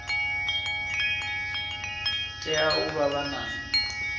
tea u vha vha na